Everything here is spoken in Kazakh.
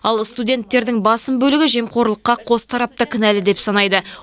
ал студенттердің басым бөлігі жемқорлыққа қос тарап та кінәлі деп санайды